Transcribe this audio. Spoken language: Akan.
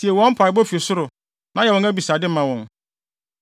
tie wɔn mpaebɔ fi ɔsoro, na yɛ wɔn abisade ma wɔn.